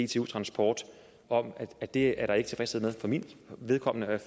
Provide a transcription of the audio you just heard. dtu transport om at det er der ikke tilfredshed med for mit vedkommende